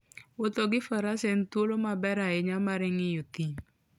Wuotho gi faras en thuolo maber ahinya mar ng'iyo thim.